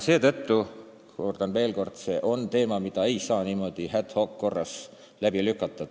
Seetõttu, kordan veel, see on teema, mida ei saa niimoodi ad hoc korras läbi lükata.